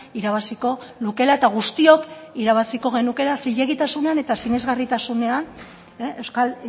irabaziko lukeela eta guztiok irabaziko genukeela zilegitasunean eta sinesgarritasunean euskal